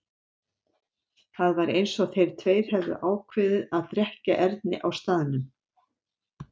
Það var eins og þeir tveir hefðu ákveðið að drekkja Erni á staðnum.